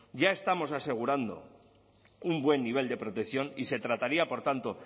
ya estamos asegurando un buen nivel de protección y se trataría por tanto